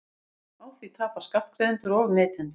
Á því tapa skattgreiðendur og neytendur